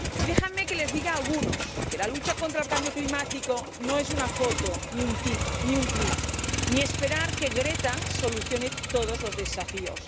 Y déjenme que les diga a algunos que la lucha contra el cambio climático no es una foto ni un tuit, ni esperar que Greta solucione todos los desafíos.